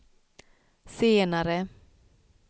senare